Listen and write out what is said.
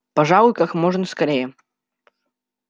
пожалуй как можно скорее